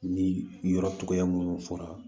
Ni yɔrɔ cogoya minnu fɔra